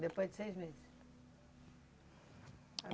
Depois de seis meses?